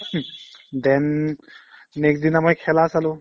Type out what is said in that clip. then next দিনা মই খেলা চালো